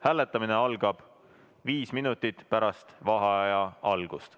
Hääletamine algab viis minutit pärast vaheaja algust.